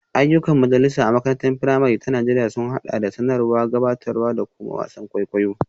Ayyukan majalisa a makarantar firamare ta Najeriya sun haɗa da sanarwa, gabatarwa, da kuma wasan kwaikwayo.